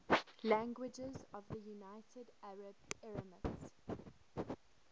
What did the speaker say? languages of the united arab emirates